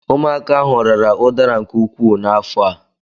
Ụmụaka ahụ rara ụdara nke ukwuu n'afọ a